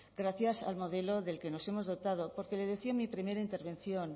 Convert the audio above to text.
gracias al modelo del que nos hemos dotado porque lo decía en mi primera intervención